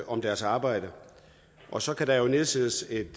om deres arbejde og så kan der jo nedsættes et